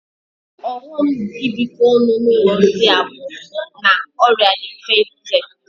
Ọghọm ibikọ ọnụ n'ụlọ ndị a bụ na ọrịa dị mfe ibute